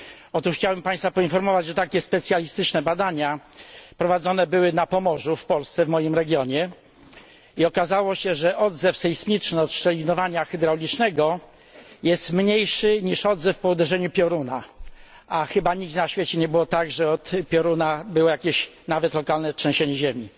Otóż chciałem Państwa poinformować, że takie specjalistyczne badania prowadzone były na Pomorzu w Polsce, w moim regionie, i okazało się, że odzew sejsmiczny od szczelinowania hydraulicznego jest mniejszy niż odzew po uderzeniu pioruna, a chyba nigdzie na świecie nie było tak, że od pioruna doszło do jakiegoś, nawet lokalnego, trzęsienia ziemi.